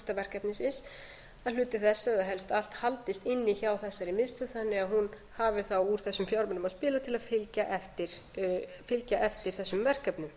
að hluti þess eða helst allt haldist inni hjá þessari miðstöð þannig að hún hafi þá úr þessum fjármunum að spila til að fylgja eftir þessum verkefnum